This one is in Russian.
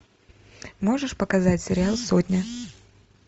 можешь показать сериал сотня